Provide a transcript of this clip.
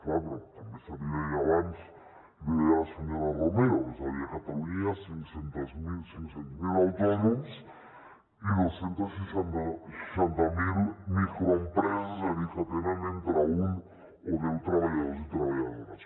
clar però també se li deia abans l’hi deia la senyora romero és a dir a catalunya hi ha cinc cents miler autònoms i dos cents i seixanta miler microempreses és a dir que tenen entre un o deu treballadors i treballadores